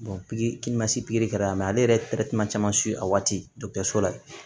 pigiri ma se pikiri kɛra la mɛ ale yɛrɛ caman a waati la